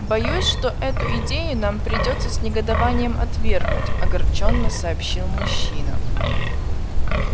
боюсь что эту идею нам придётся с негодованием отвергнуть огорчённо сообщил мужчина